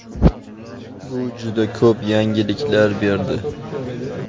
Bu juda ko‘p yengilliklar berdi.